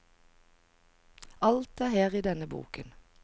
Alt er her i denne boken.